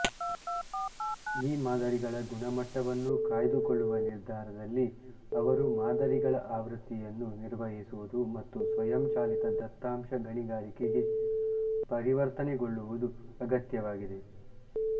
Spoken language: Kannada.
ಈ ಮಾದರಿಗಳ ಗುಣಮಟ್ಟವನ್ನು ಕಾಯ್ದುಕೊಳ್ಳುವ ನಿರ್ಧಾರದಲ್ಲಿ ಅವರು ಮಾದರಿಗಳ ಆವೃತ್ತಿಯನ್ನು ನಿರ್ವಹಿಸುವುದು ಮತ್ತು ಸ್ವಯಂಚಾಲಿತ ದತ್ತಾಂಶ ಗಣಿಗಾರಿಕೆಗೆ ಪರಿವರ್ತನೆಗೊಳ್ಳುವುದು ಅಗತ್ಯವಾಗಿದೆ